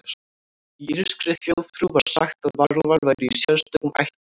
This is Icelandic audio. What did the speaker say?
Í írskri þjóðtrú var sagt að varúlfar væru í sérstökum ættum.